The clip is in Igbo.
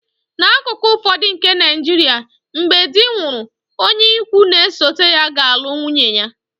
N’akụkụ ụfọdụ nke Nigeria, mgbe di nwụrụ, onye ikwu n'esote ya ga-alụ nwunye ya